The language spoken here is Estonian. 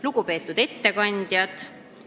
Lugupeetud ettekandjad!